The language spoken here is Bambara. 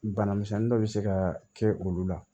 Bana misɛnnin dɔ bɛ se ka kɛ olu la